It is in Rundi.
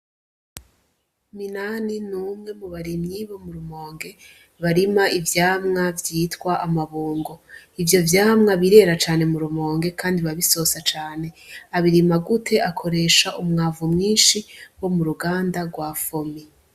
Minani ni umwe mu barimyi bo mu Rumonge barima ivyamwa vyitwa amabungo. Ivyo vyamwa birera cane mu Rumonge kandi biba bisosa cane. Babirima gute ? Akoresha umwavu mwinshi wo mu ruganda rwa FOMI.